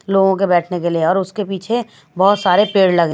लोगों के बैठने के लिए और उसके पीछे बहुत सारे पेड़ लगे--